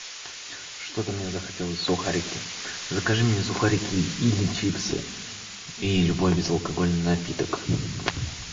что то мне захотелось сухарики закажи мне сухарики или чипсы и любой безалкогольный напиток